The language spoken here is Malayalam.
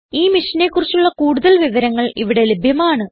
ഈ മിഷനെ കുറിച്ചുള്ള കുടുതൽ വിവരങ്ങൾ ഇവിടെ ലഭ്യമാണ്